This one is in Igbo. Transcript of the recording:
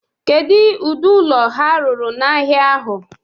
Kedu ụdị ụlọ ha rụrụ n' ahịa ahụ?